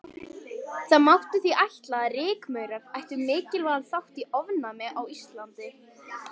Það mátti því ætla að rykmaurar ættu mikilvægan þátt í ofnæmi á Íslandi.